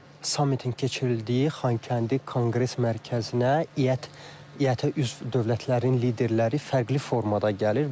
Sammitin keçirildiyi Xankəndi Konqres Mərkəzinə İƏT-ə üzv dövlətlərin liderləri fərqli formada gəlir.